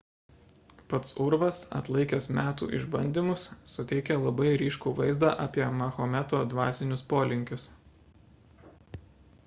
pats urvas atlaikęs metų išbandymus suteikia labai ryškų vaizdą apie mahometo dvasinius polinkius